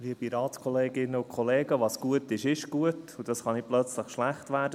Was gut ist, ist gut, und das kann nicht plötzlich schlecht werden.